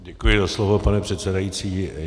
Děkuji za slovo, pane předsedající.